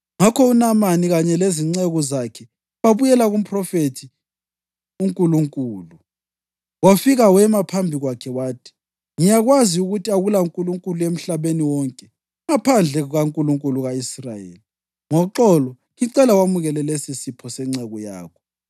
Ngakho uNamani kanye lezinceku zakhe babuyela kumphrofethi uNkulunkulu. Wafika wema phambi kwakhe wathi, “Ngiyakwazi ukuthi akulankulunkulu emhlabeni wonke ngaphandle kukaNkulunkulu ka-Israyeli. Ngoxolo ngicela wamukele lesisipho senceku yakho.”